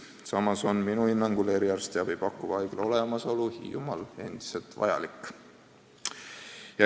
Samas on minu hinnangul eriarstiabi pakkuva haigla olemasolu Hiiumaal endiselt vajalik.